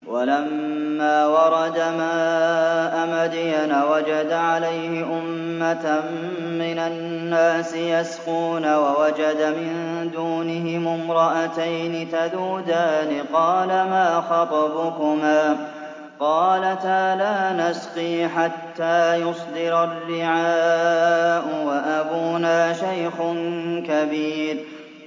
وَلَمَّا وَرَدَ مَاءَ مَدْيَنَ وَجَدَ عَلَيْهِ أُمَّةً مِّنَ النَّاسِ يَسْقُونَ وَوَجَدَ مِن دُونِهِمُ امْرَأَتَيْنِ تَذُودَانِ ۖ قَالَ مَا خَطْبُكُمَا ۖ قَالَتَا لَا نَسْقِي حَتَّىٰ يُصْدِرَ الرِّعَاءُ ۖ وَأَبُونَا شَيْخٌ كَبِيرٌ